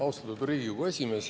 Austatud Riigikogu esimees!